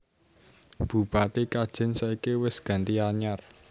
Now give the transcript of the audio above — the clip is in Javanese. Bupati Kajen saiki wes ganti anyar